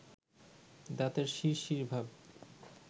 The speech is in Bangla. দাঁতের শিরশিরভাব